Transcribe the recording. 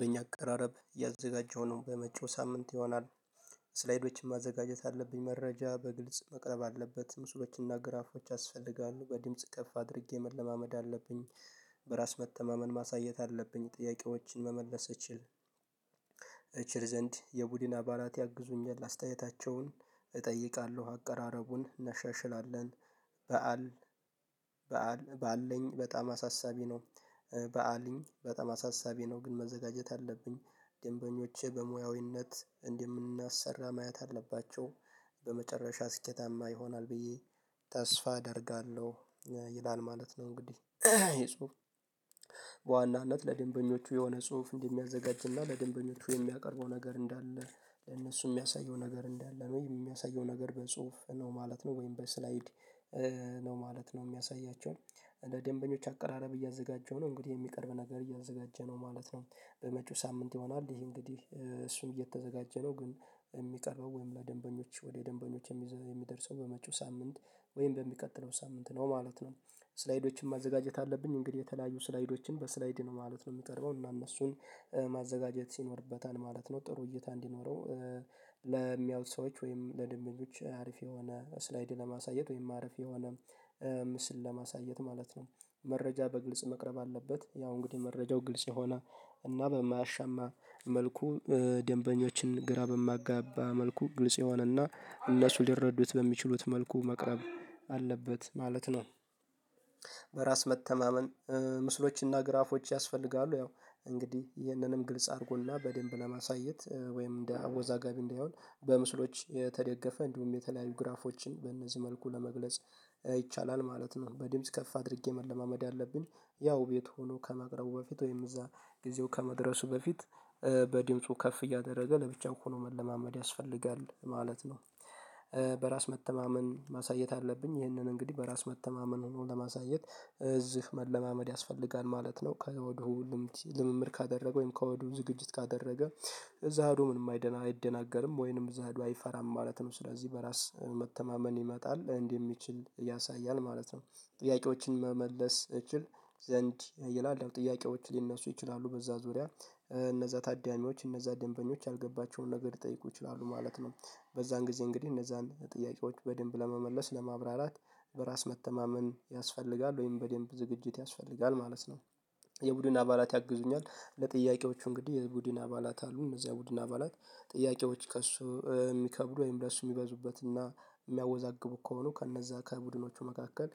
በእኛ አቀራረብ ያዘጋጀነውን በመጪው ሳምንት ይሆናል ስላይዶችን ማዘጋጀት አለብኝ መረጃ በግልጽ መቅረብ አለበት ምስሎችንና ግራፎች ያስፈልጋሉ በድምጽ ከፍ አድርጌ መለማመድ አለብኝ በራስ መተማመን ማሳየት አለብኝ ጥያቄዎችን መመለስ እችል ዘንድ የቡድን አባላት ያግዙኛል አስተያየታቸውን እጠይቃለሁ አቀራረቡን እናሻሽላለን በዓል በአለኝ በጣም አሳሳቢ ነው በአልኝ በጣም አሳሳቢ ነው ግን መዘጋጀት አለብኝ ደንበኞቼ በሙያዊነት እንደምናሰራ ማየት አለባቸው በመጨረሻ ስኬታማ ይሆናል ብዬ ተስፋ አደርጋለሁ ይላል ማለት ነው እንግዲህ የጽሁፍ በዋናነት ለደንበኞቹ የሆነ ጽሁፍ እንደሚያዘጋጅና ለደንበኞቹ የሚያቀርበው ነገር እንዳለ ለእነሱ የሚያሳየው ነገር እንዳለነው የሚያሳየው ነገር በጽሁፍ ነው ማለት ነው ወይም በስላይድ ነው ማለት ነው የሚያሳያቸው እንደ ደንበኞች አቀራረብ እያዘጋጀ ነው እንግዲህ የሚቀርብ ነገር እያዘጋጀ ነው ማለት ነው በመጪው ሳምንት ይሆናል ይሄ እንግዲህ እሱን እየተዘጋጀ ነው ግን የሚቀርበው ወይም ለደንበኞች ወደ ደንበኞች የሚደርሰው በመጪው ሳምንት ወይም በሚቀጥለው ሳምንት ነው ማለት ነው ስላይዶችን ማዘጋጀት አለብኝ እንግዲህ የተለያዩ ስላይዶችን በስላይድ ነው ማለት ነው የሚቀርበው እና እነሱን ማዘጋጀት ይኖርበታል ማለት ነው ጥሩ እይታ እንዲኖረው ለሚያዩት ሰዎች ወይም ለደንበኞች አሪፍ የሆነ ስላይድ ለማሳየት ወይም አሪፍ የሆነ ምስል ለማሳየት ማለት ነው መረጃ በግልጽ መቅረብ አለበት ያው እንግዲህ መረጃው ግልጽ የሆነ እና በማያሻማ መልኩ ደንበኞችን ግራ በማያጋባ መልኩ ግልጽ የሆነና እነሱ ሊረዱት በሚችሉት መልኩ መቅረብ አለበት ማለት ነው በራስ መተማመን ምስሎችና ግራፎች ያስፈልጋሉ ያው እንግዲህ ይህንንም ግልጽ አድርጎና በደንብ ለማሳየት ወይም እንደ አወዛጋቢ እንዳይሆን በምስሎች የተደገፈ እንዲሁም የተለያዩ ግራፎችን በእነዚህ መልኩ ለመግለጽ ይቻላል ማለት ነው በድምጽ ከፍ አድርጌ መለማመድ ያለብኝ ያው ቤት ሆኖ ከማቅረቡ በፊት ወይም እዛ ጊዜው ከመድረሱ በፊት በድምፁ ከፍ እያደረገ ለብቻው ሆኖ መለማመድ ያስፈልጋል ማለት ነው በራስ መተማመን ማሳየት አለብኝ ይህንን እንግዲህ በራስ መተማመን ሆኖ ለማሳየት እዚህ መለማመድ ያስፈልጋል ማለት ነው ከወዲሁ ልምምድ ካደረገ ወይም ከወዲሁ ዝግጅት ካደረገ እዛ ሄዶ ምንም አይደናገርም ወይንም እዛ ሄዶ አይፈራም ማለት ነው ስለዚህ በራስ መተማመን ይመጣል እንዲህ የሚችል ያሳያል ማለት ነው ጥያቄዎችን መመለስ እችል ዘንድ ይላል ጥያቄዎች ሊነሱ ይችላሉ በዛ ዙሪያ እነዛ ታዳሚዎች እነዛ ደንበኞች አልገባቸውም ነገር ሊጠይቁ ይችላሉ ማለት ነው በዛን ጊዜ እንግዲህ እነዛን ጥያቄዎች በደንብ ለመመለስ ለማብራራት በራስ መተማመን ያስፈልጋል ወይም በደንብ ዝግጅት ያስፈልጋል ማለት ነው የቡድን አባላት ያግዙኛል ለጥያቄዎቹ እንግዲህ የቡድን አባላት አሉ እነዚያ የቡድን አባላት ጥያቄዎች ከእሱ የሚከብዱ ወይም ለእሱ የሚበዙበትና የሚያወዛግቡ ከሆኑ ከእነዛ ከቡድኖቹ መካከል